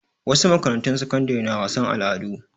Wasu makarantu sakandare na wasan al'adu.